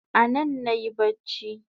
Anan nayi bacci